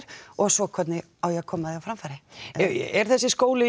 og svo hvernig á ég að koma því á framfæri er þessi skóli